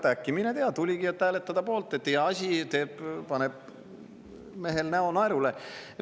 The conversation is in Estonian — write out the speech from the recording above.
Äkki, mine tea, tuligi, et hääletada poolt, et head asja teeb – paneb mehel näo naerule.